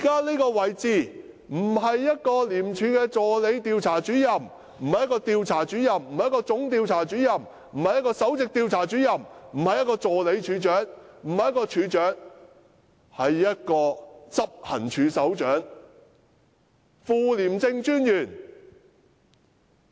這個可不是廉署助理調查主任，或調查主任，或總調查主任，也不是首席調查主任，或助理處長，或處長，而是執行處首長的職位。